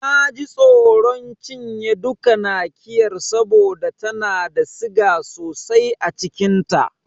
Na ji tsoron cinye duka Nakiyar saboda tana da siga sosai a cikin ta.